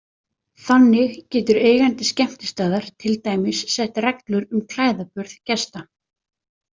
Þannig getur eigandi skemmtistaðar til dæmis sett reglur um klæðaburð gesta.